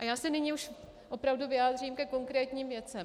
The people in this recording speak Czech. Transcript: A já se nyní už opravdu vyjádřím ke konkrétním věcem.